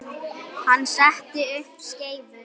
Hann setti upp skeifu.